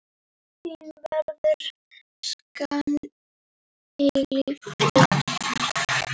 Þín verður saknað að eilífu.